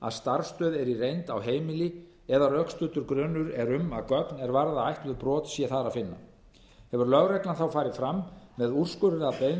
að starfsstöð er í reynd á heimili eða að rökstuddur grunur er um að gögn er varða ætluð brot sé þar að finna hefur lögreglan þá farið fram með úrskurðarbeiðni